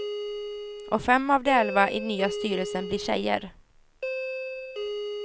Och fem av de elva i nya styrelsen blir tjejer.